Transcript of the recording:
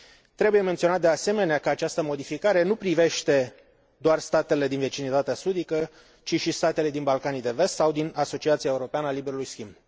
Trebuie menționat, de asemenea, că această modificare nu privește doar statele din vecinătatea sudică, ci și statele din Balcanii de Vest sau din Asociația Europeană a Liberului Schimb.